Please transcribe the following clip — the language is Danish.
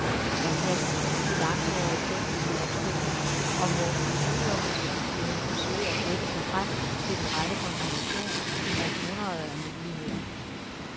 Man kastes ud i langhårede tekniske opstillinger, og må ved udelukkelsesmetoden forsøge at gætte sig frem til den rette kombination ud af hundreder af muligheder.